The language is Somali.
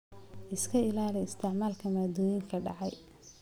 Iska ilaali isticmaalka maaddooyinka dhacay.